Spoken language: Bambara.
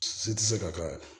Si tɛ se ka kɛ